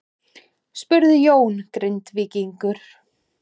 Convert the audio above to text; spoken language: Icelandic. spurði Jón Grindvíkingur.